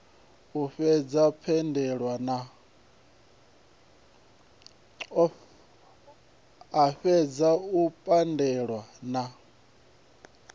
a fhedze o pandelwa na